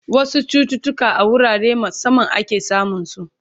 wasu chututuka a wurare musamman ake samun su